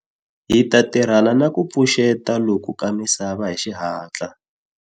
Hi ta tirhana ni ku pfuxeta loku ka misava hi xihatla.